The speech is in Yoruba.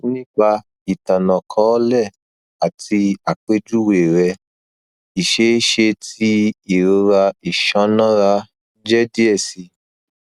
nipa itanakọọlẹ ati apejuwe rẹ iṣeeṣe ti irora iṣanara jẹ diẹ sii